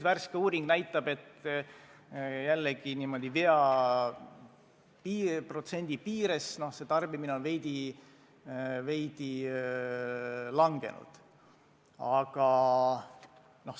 Värske uuring näitab, et tarbimine on veidi vähenenud, aga see näitaja jääb statistilise vea, 5% vähenemise piiresse.